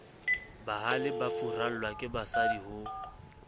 bahale ba furallwa kebasadi ho